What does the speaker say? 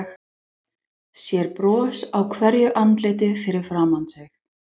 Sér bros á hverju andliti fyrir framan sig.